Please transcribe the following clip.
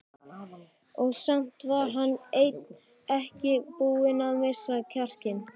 Og samt var hann enn ekki búinn að missa kjarkinn.